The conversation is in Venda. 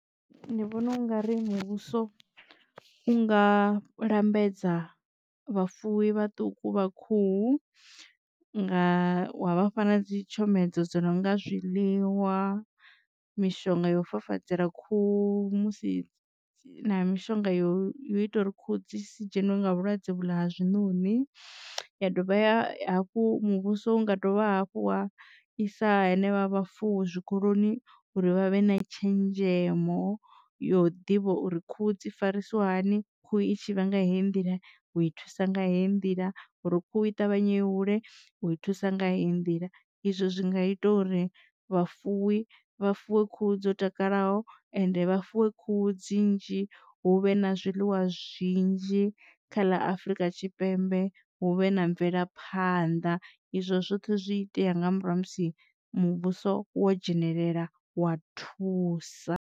Ndi vhona u nga ri muvhuso u nga lambedza vhafuwi vhaṱuku vha khuhu nga wa vhafha na dzitshomedzo dzo no nga zwiḽiwa mishonga yo fafadzela khuhu musi mishonga yo yo ita uri khuhu dzi si dzheniwe nga vhulwadze vhuḽa ha zwinoni. Ya dovha hafhu muvhuso unga dovha hafhu wa i sa henevha vhafuwi zwikoloni uri vha vhe na tshenzhemo yo ḓivha uri khuhu dzi farisa wa hani khuhu i tshi vha nga heyi nḓila u i thusa nga heyi nḓila uri khuhu i ṱavhanye i hule u i thusa nga heyi nḓila. Izwo zwi nga ita uri vha fuwi vha fuwe khuhu dzo takalaho ende vha fuwe khuhu dzi nnzhi hu vhe na zwiḽiwa zwinzhi kha ḽa afrika tshipembe huvhe na mvelaphanḓa izwo zwoṱhe zwi itea nga murahu ha musi muvhuso wo dzhenelela wa thusa.